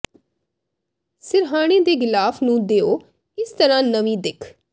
ਸਿਰਹਾਣੇ ਦੇ ਗਿਲਾਫ ਨੂੰ ਦਿਓ ਇਸ ਤਰ੍ਹਾਂ ਨਵੀਂ ਦਿਖ